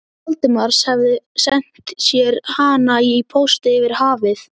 Valdimars, hefði sent sér hana í pósti yfir hafið.